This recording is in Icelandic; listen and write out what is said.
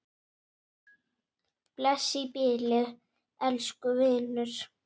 Bless í bili, elsku vinur.